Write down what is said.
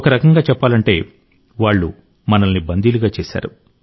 ఒక రకంగా చెప్పాలంటే వాళ్ళు మనల్ని బందీలుగా చేశారు